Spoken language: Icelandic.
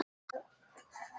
Þau voru öll þögul.